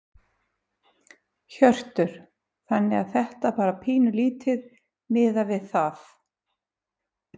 Hjörtur: Þannig að þetta bara pínulítið miðað við það?